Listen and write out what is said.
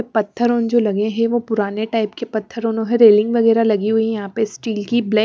पथरो जो लगे है वो पुराने टाइप के प्थरोनो है रेलिंग वगेरा लगी हुई है यहा पे स्टील की ब्लैक --